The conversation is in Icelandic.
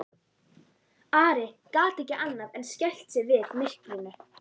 Ari gat ekki annað en skælt sig við myrkrinu.